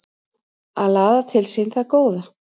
Að laða til sín það góða